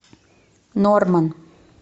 норман